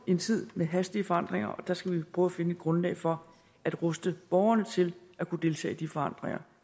en tid med hastige forandringer og der skal vi prøve at finde et grundlag for at ruste borgerne til at kunne deltage i de forandringer